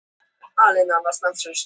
Það eru færri á ferðinni